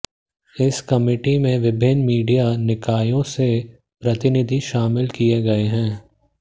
इस कमिटी में विभिन्न मीडिया निकायों से प्रतिनिधि शामिल किए गए हैं